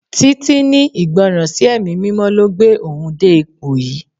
Títí ní Ìgbọràn sí ẹ̀mí mímọ́ ló gbé òun dé ipò yìí.